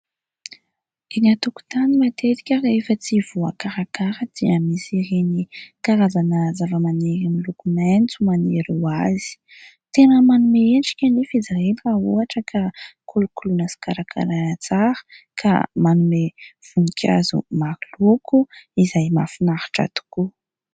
Eny an-tokontany matetika rehefa tsy voakarakara dia misy ireny karazana zava-maniry miloko maitso maniry hoazy. Tena manome endrika nefa izy ireny raha ohatra ka kolokoloina sy karakaraina tsara ka manome voninkazo maroloko izay mahafinaritra tokoa.